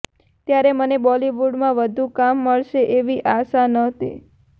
ત્યારે મને બોલિવૂડમાં વધુ કામ મળશે એવી આશા નહોતી